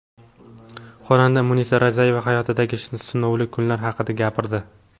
Xonanda Munisa Rizayeva hayotidagi sinovli kunlar haqida gapirdi.